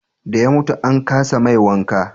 da ya mutu an kasa mai wanka